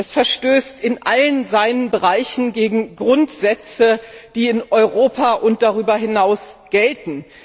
Es verstößt in allen seinen Bereichen gegen Grundsätze, die in Europa und darüber hinaus gelten.